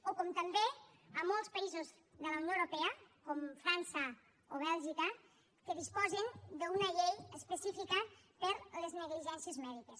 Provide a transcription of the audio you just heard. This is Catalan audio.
o com també a molts països de la unió europea com frança o bèlgica que disposen d’una llei específica per a les negligències mèdiques